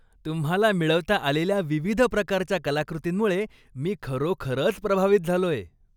तुम्हाला मिळवता आलेल्या विविध प्रकारच्या कलाकृतींमुळे मी खरोखरच प्रभावित झालोय.